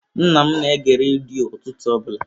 Nna m na-ege redio ụtụtụ ọbụla.